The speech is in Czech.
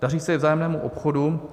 Daří se i vzájemnému obchodu.